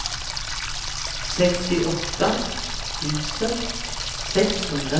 sextioåtta tusen sexhundratre